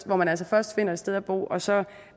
hvor man altså først finder sted at bo og så